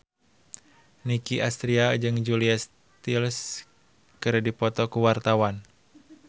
Nicky Astria jeung Julia Stiles keur dipoto ku wartawan